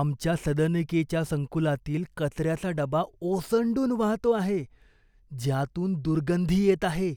आमच्या सदनिकेच्या संकुलातील कचऱ्याचा डबा ओसंडून वाहतो आहे ज्यातून दुर्गंधी येत आहे,